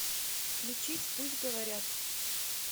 включить пусть говорят